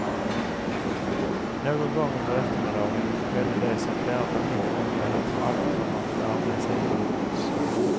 Någon gång under eftermiddagen skedde det som flera familjer i området för alltid kommer att bära med sig inombords.